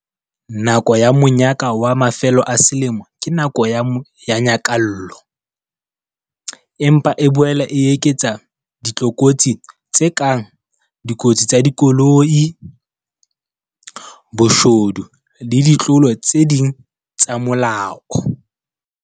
Nako ya monyaka wa mafelo a selemo ke nako ya nyakallo. Empa e boela e eketsa ditlokotsi tse kang dikotsi tsa dikoloi, boshodu le ditlolo tse ding tsa molao.